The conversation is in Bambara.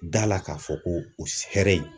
Da la k'a fɔ ko o hɛrɛ in.